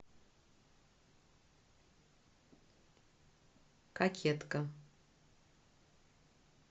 кокетка